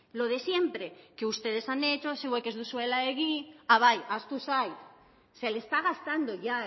lo de siempre que ustedes han hecho zuek ez dozuela egin a bai ahaztu zait se le está gastando ya